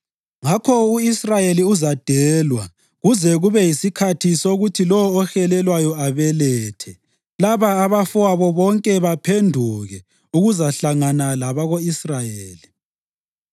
Ngakho u-Israyeli uzadelwa kuze kube yisikhathi sokuthi lowo ohelelwayo abelethe, laba abafowabo bonke baphenduke ukuzahlangana labako-Israyeli.